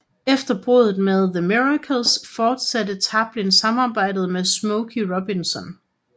Efter bruddet med The Miracles fortsatte Tarplin samarbejdet med Smokey Robinson